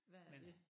Hvad er dét